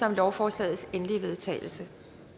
om lovforslagets endelige vedtagelse